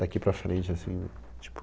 Daqui para frente, assim, tipo...